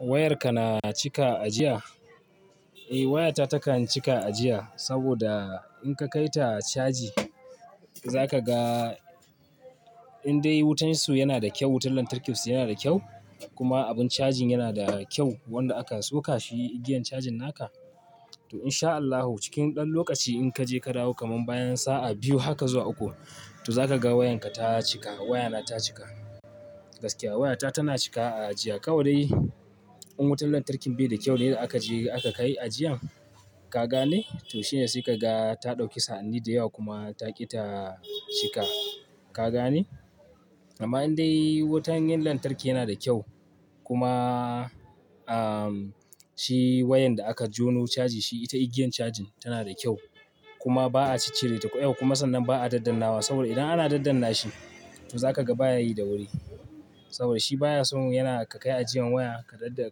Wayar ka na cika ajiya? Eh waya ta takan cika ajiya, saboda in ka kai ta caji zaka ga indai wutan su yana da kyau, wutan lantarkin su yana da kyau, kuma abin cajin yana da kyau wanda aka soka shi igiyan cajin naka, to inshaAllahu cikin ɗan lokaci in kaje ka dawo kaman bayan sa'a biyu haka zuwa uku, to zaka ga wayanka ta cika. Wayana ta cika gaskiya. Wayata tana cika a ajiya. Kawai dai in wutar lantarki bai da kyau ne da aka je aka kai ajiyan, ka gane? To shine sai kaga ta ɗauki sa'anni da yawa kuma taƙi ta cika, ka gane? Amma indai wutan 'yan lantarki yana da kyau, kuma, ah, shi wayan da aka jono caji shi ita igiyan cajin tana da kyau, kuma ba'a cicicire ta yauwa kuma sannan ba'a daddannawa saboda idan ana dadanna shi, to za ka ga baya yi da wuri. Saboda shi baya so yana ka kai ajiyan waya ka dadda,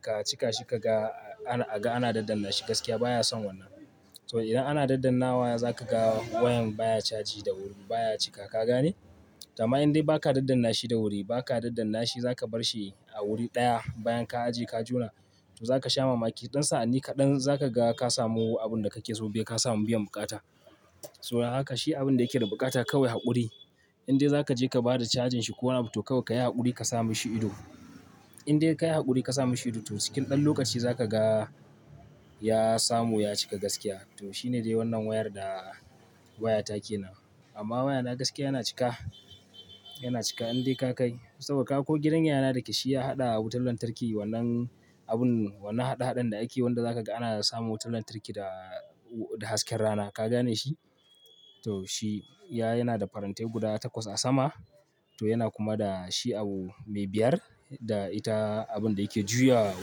ka, ka cika shi ka ga a ga ana dadanna shi gaskiya baya son wannan. To idan ana daddannawa zaka ga, wayan baya caji da wuri baya cika, ka gane? To amma indai ba ka daddanna shi da wuri, ba ka daddanna shi za ka bar shi a wuri ɗaya, bayan ka ajiye ka jona, to zaka sha mamaki ɗan sa'anni kaɗan za ka ga ka samu abun da kake so. Dai ka samu biyan buƙata. So dan haka shi abin da yake da buƙata kawai haƙuri. Indai za ka je ka bada cajin shi ko wani abu to kawai ka yi haƙuri ka sa mishi ido. Indai kayi haƙuri ka sa mishi ido to cikin ɗan lokaci za ka ga, ya samu ya cika gaskiya. To shine dai wannan wayar da wayata ke nan. Amma wayana gaskiya yana cika, yana cika indai ka kai. Saboda kaga ko gidan yayana dake shi ya haɗa wutar lantarki wannan abun wannan haɗe-haɗen da ake wanda za ka ga ana samu wutar lantarki da, da hasken rana, ka gane shi? To shi, ya, yana da farantai guda takwas a sama, to yana kuma da shi au, me biyar, da ita abun da yake juya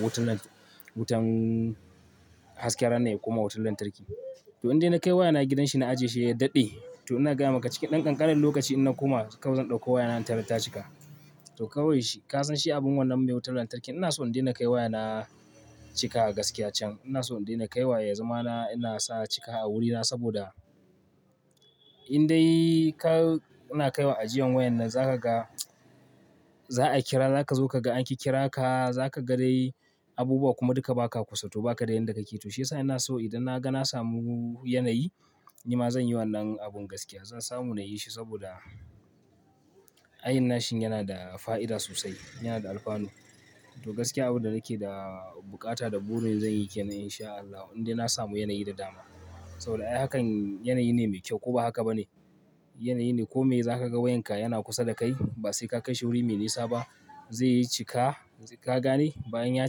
wutan nan, wutan hasken rana ya koma wutar lantarki. To indai na kai wayana gidan shi na ajiye shi ya daɗe, to ina gaya maka cikin ɗan ƙanƙanan lokaci ina na koma, kawai zan ɗauko wayana in tarar ta cika. To kawai shi ka san shi abun wannan mai wutar lantarki. Ina so in daina kai wayana cika a gaskiya can. Ina so in daina kai wa ya zamana, ina sa cika a wurina saboda indai ka, na kaiwa ajiyan wayan nan za ka ga za'a kira. Za kazo kaga an kikkira ka, za kaga dai abubuwa kuma duka ba ka kusa to ba ka da yan da ka ke. To shi ya sa ina so idan na ga na samu yanayi, ni ma zan yi wannan abun gaskiya. Zan samu na yi shi, saboda ayin nashi yana da fa'ida sosai, yana da alfanu. To gaskiya abin da nake da buƙata da burin zan yi ke nan inshaAllahu, indai na samu yanayi da dama. Saboda ai hakan yanayi ne mai kyau ko ba haka ba ne? Yanayi ne ko me za ka ga wayanka yana kusa da kai, ba sai ka kai shi wuri me nisa ba, zai cika, ka gane? Bayan ya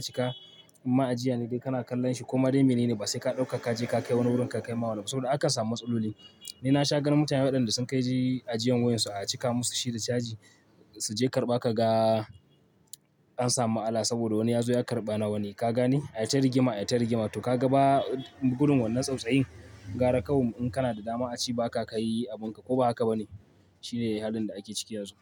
cika, umma ajiya ne dai kana kallon shi, koma dai me ne ne ba sai ka ɗauka ka je ka kai wani wurin ka kai ma wani. Saboda aka samu matsaloli. Ni nasha ganin mutane waɗanda sun kai, ajiyan wayan su a cika musu shi da caji, suje karɓa kaga, an samu ma'ala saboda wani ya zo ya karɓa na wani, ka gane? Ai ta rigima, ai ta rigima, to ka ga ba gudun wannan tsautsayin, gara kawai mu, in kana da dama a ci ba ka kai abunka, ko ba haka ba ne? Shine halin da ake ciki yanzu.